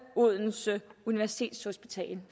odense universitetshospital